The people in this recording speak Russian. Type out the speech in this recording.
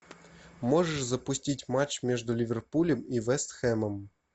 можешь запустить матч между ливерпулем и вест хэмом